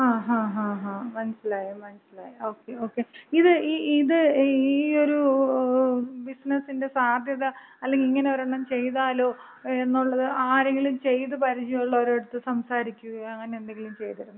ങ്ങാ ങ്ങാ മനസ്സിലായി മനസ്സിലായി. Okay okay. ഇത് ഇത് ഈയൊരു ബിസിനസിന്‍റെ സാധ്യത, അല്ലെങ്കി ഇങ്ങനെ ഒരെണ്ണം ചെയ്താലോ എന്നൊള്ളത് ആരെങ്കിലും ചെയ്ത് പരിചയം ഒള്ളവരുടടുത്ത് സംസാരിക്കുകയോ അങ്ങനെ എന്തെങ്കിലും ചെയ്തിരുന്നോ?